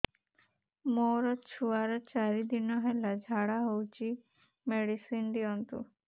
ମୋର ଛୁଆର ଚାରି ଦିନ ହେଲା ଝାଡା ହଉଚି ମେଡିସିନ ଦିଅନ୍ତୁ